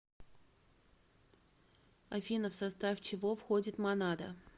афина в состав чего входит монада